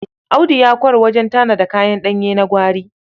Audu ya ƙwarw wajen tanada kayan ɗanye na gwari.